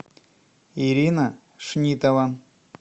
ирина шнитова